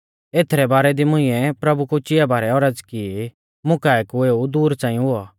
एथरै बारै दी मुंइऐ प्रभु कु चिआ बारै औरज़ की मुकाऐ कु एऊ दूर च़ांई हुऔ